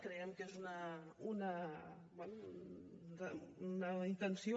creiem que és una intenció